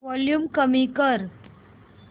volume कमी कर